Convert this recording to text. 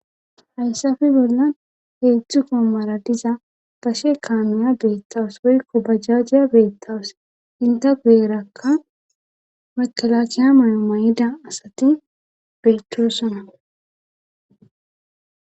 hayssafe bollan heedzdzu goommara diza gashe kaanuya beettawus woykko bajjajiya beettawus inte gueerakka makalakiya mayo may7ida asati beetosona